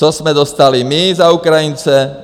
Co jsme dostali my za Ukrajince?